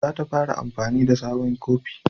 Za ta fara amfani na da sabon kofi